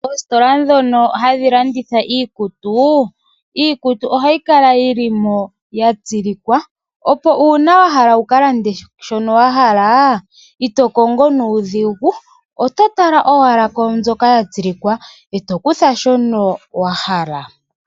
Ositola dhono hadhi landitha iikutu , iikutu ohayi kala yilimo ya tsilikwa op ngele wahala wuka lande shono wa hala ito kongo nuudhigu , oto Tala owala kwamboka ya tsilikwa eto kutha shoka wahala.